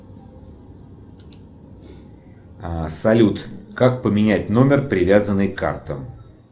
салют как поменять номер привязанный к картам